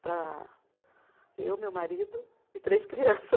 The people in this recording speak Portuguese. Para eu, meu marido e três crianças.